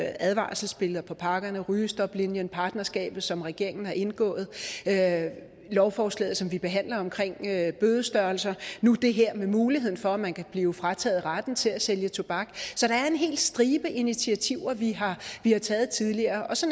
advarselsbilleder på pakkerne stoplinien partnerskabet som regeringen har indgået lovforslaget som vi behandler om bødestørrelser og nu det her med muligheden for at man kan blive frataget retten til at sælge tobak så der er en hel stribe initiativer vi har taget tidligere så